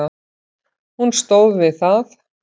Hún stóð við það.